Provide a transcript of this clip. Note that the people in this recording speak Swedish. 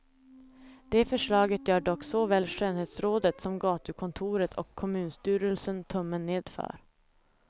Det förslaget gör dock såväl skönhetsrådet som gatukontoret och kommunstyrelsen tummen ned för.